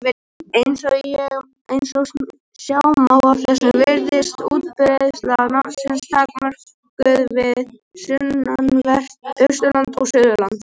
Eins og sjá má af þessu virðist útbreiðsla nafnsins takmörkuð við sunnanvert Austurland og Suðurland.